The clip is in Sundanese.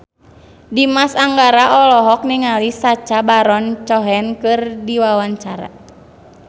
Dimas Anggara olohok ningali Sacha Baron Cohen keur diwawancara